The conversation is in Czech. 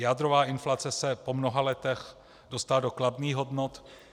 Jádrová inflace se po mnoha letech dostala do kladných hodnot.